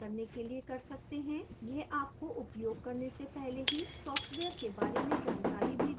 यह आपको उपयोग करने से पहले ही software के बारे में जानकारी भी देता है